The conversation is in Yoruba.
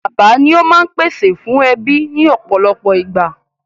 Bàbá ni ó máa ń pèsè fún ẹbí ní ọ̀pọ̀lọpọ̀ ìgbà.